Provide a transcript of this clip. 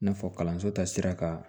I n'a fɔ kalanso ta sira kan